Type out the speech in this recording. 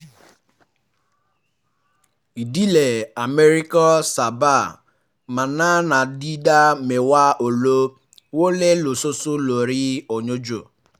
ìdílé um amẹ́ríkà sábà um máa ná ná ìdá mẹ́wàá owó wọlé lóṣooṣù lórí oúnjẹ